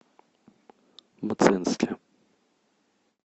мценске